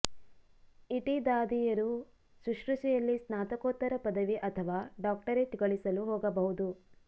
ಇಟಿ ದಾದಿಯರು ಶುಶ್ರೂಷೆಯಲ್ಲಿ ಸ್ನಾತಕೋತ್ತರ ಪದವಿ ಅಥವಾ ಡಾಕ್ಟರೇಟ್ ಗಳಿಸಲು ಹೋಗಬಹುದು